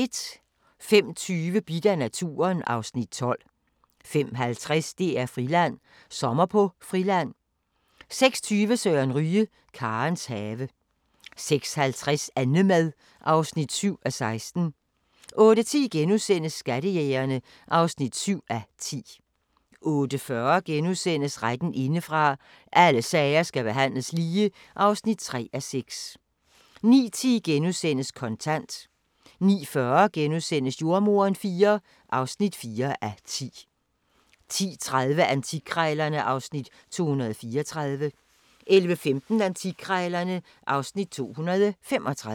05:20: Bidt af naturen (Afs. 12) 05:50: DR-Friland: Sommer på Friland 06:20: Søren Ryge – Karens have 06:50: Annemad (7:16) 08:10: Skattejægerne (7:10)* 08:40: Retten indefra – Alle sager skal behandles lige (3:6)* 09:10: Kontant * 09:40: Jordemoderen V (4:10)* 10:30: Antikkrejlerne (Afs. 234) 11:15: Antikkrejlerne (Afs. 235)